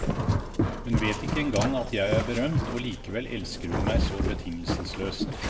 Hun vet ikke engang at jeg er berømt, og likevel elsker hun meg så betingelsesløst.